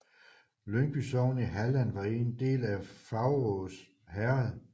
Ljungby sogn i Halland var en del af Faurås herred